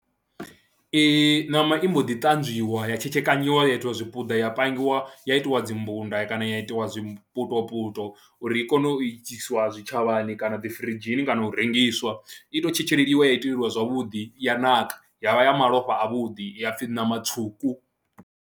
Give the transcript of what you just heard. Ṋama i mbo ḓi ṱanzwiwa ya tshekekanyiwa ya itiwa zwipiḓa ya pangiwa ya itiwa dzi mbunda kana ya itiwa zwiputo puloto uri i kone u iswa zwitshavhani kana dzi firidzhini kana u rengiswa, i tou tshetsheliwa ya iteleliwa zwavhuḓi ya naka ya vha ya malofha avhuḓi ya pfhi ṋama tswuku.